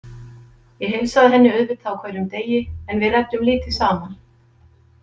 Ég heilsaði henni auðvitað á hverjum degi en við ræddum lítið saman.